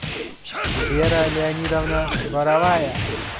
вера леонидовна боровая